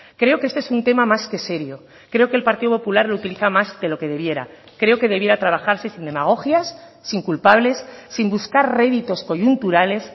creo que este es un tema más que serio creo que el partido popular lo utiliza más de lo que debiera creo que debiera trabajarse sin demagogias sin culpables sin buscar réditos coyunturales